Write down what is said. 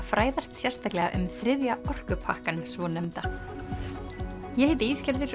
fræðast sérstaklega um þriðja orkupakkann svonefnda ég heiti